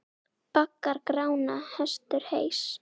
Baggar Grána hestur heys.